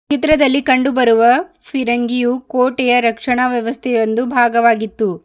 ಚಿತ್ರದಲ್ಲಿ ಕಂಡು ಬರುವ ಫಿರಂಗಿಯೂ ಕೋಟೆಯ ರಕ್ಷಣಾ ವ್ಯವಸ್ಥೆ ಒಂದು ಭಾಗವಾಗಿತ್ತು.